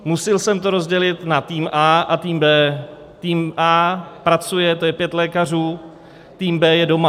Musil jsem to rozdělit na tým A a tým B. Tým A pracuje, to je pět lékařů, tým B je doma.